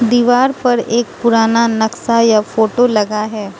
दीवार पर एक पुराना नक्शा या फोटो लगा है।